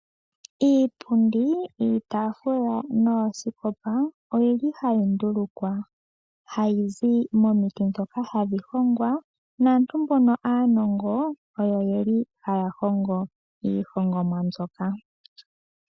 Iipundi, iitaafula noosikopa oyili hayi ndulukwa, hayizi momiti dhoka hadhi hongwa naantu mbono aanongo oyo yeli haya hongo iihongomwa mbyoka.